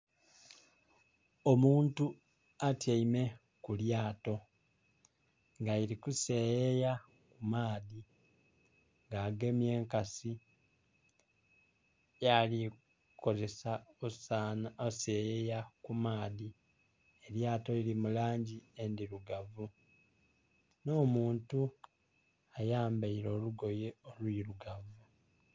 Omuntu atyaime ku lyato nga lili ku seyeya ku maadhi nga agemye enkasi gyali ku kozesa okuseyeya ku maadhi elyato lili mulangi endhirugavu nho muntu ayambaire olugoye olwirugavu.